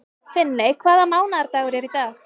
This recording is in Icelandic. Finney, hvaða mánaðardagur er í dag?